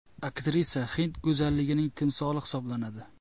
Aktrisa hind go‘zalligining timsoli hisoblanadi.